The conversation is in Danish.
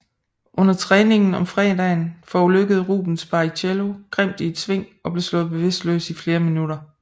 Under træningen om fredagen forulykkede Rubens Barrichello grimt i et sving og blev slået bevidstløs i flere minutter